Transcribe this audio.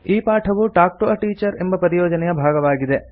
ಈ ಪಾಠವು talk to a teacher ಎಂಬ ಪರಿಯೋಜನೆಯ ಭಾಗವಾಗಿದೆ